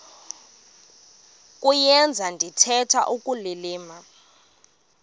kuyenza ndithetha ukulilima